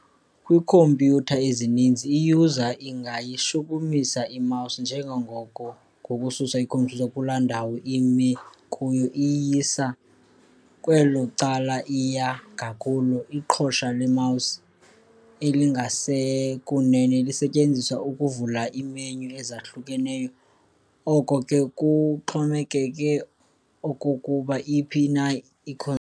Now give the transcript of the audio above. Kwiikhompyutha ezininzi, i-user ingayishukumisa i-mouse njengangoko ngokususa i-cursor kuloo ndawo imi kuyo iyisa kwelo cala iya ngakulo. Iqhosa le-mouse elingasekunene lisetyenziswa ukuvula ii-menu ezahlukeneyo, oko ke kuxhomekeke okokuba iphi na.